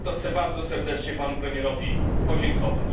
I za to chcę bardzo serdecznie Panu Premierowi podziękować.